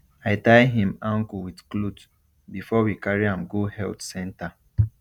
i tie him ankle with cloth before we carry am go health center